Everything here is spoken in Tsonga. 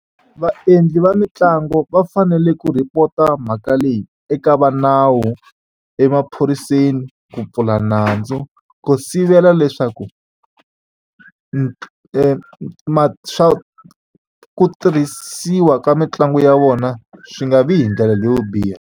Vaendli va mitlangu va fanele ku report-a mhaka leyi eka va nawu emaphoriseni ku pfula nandzu ku sivela leswaku swa ku tirhisiwa ka mitlangu ya vona swi nga vi hi ndlela leyo biha.